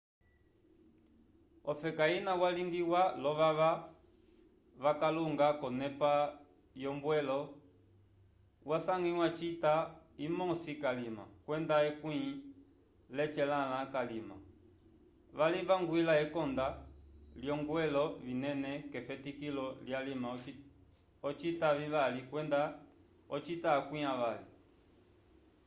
ofeka ina yañgwlĩwa lovava vakalunga conepa yombwelo yasangwya cita imosi kalima kwenda ekwĩ lecelãlãcalima valivangwila enconda lyoongwelo vinene kefetikilo lyalima ocita vivali kwenda ocita akwi avali